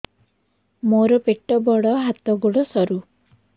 ମୋର ପେଟ ବଡ ହାତ ଗୋଡ ସରୁ